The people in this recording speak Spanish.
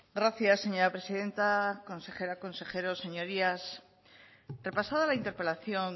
gracias señora presidenta consejera consejeros señorías repasada la interpelación